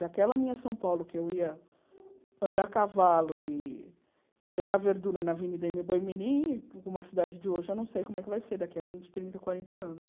Daquela minha São Paulo, que eu ia andar a cavalo e e pegar verdura na Avenida ême. Boi mirim, uma cidade de hoje, eu não sei como é que vai ser daqui a vinte, trinta, quarenta anos.